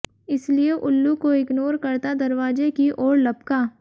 इसलिए उल्लू को इग्नोर करता दरवाजे की ओर लपका